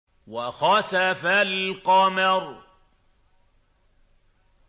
وَخَسَفَ الْقَمَرُ